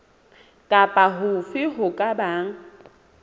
kapa hofe ho ka bang